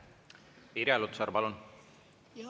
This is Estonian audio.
Irja Lutsar, palun!